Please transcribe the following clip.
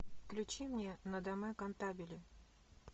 включи мне нодамэ кантабиле